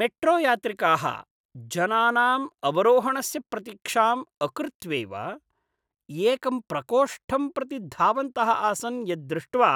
मेट्रोयात्रिकाः जनानाम् अवरोहणस्य प्रतीक्षां अकृत्वैव एकं प्रकोष्ठं प्रति धावन्तः आसन् यद् दृष्ट्वा